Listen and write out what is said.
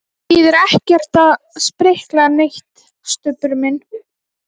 Það þýðir ekkert að sprikla neitt, Stubbur minn.